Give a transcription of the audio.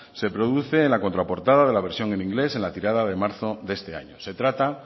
se produce en la contraportada de la versión en inglés en la tirada de marzo de este año se trata